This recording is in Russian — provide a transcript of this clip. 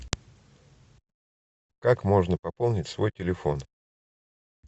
как можно пополнить свой телефон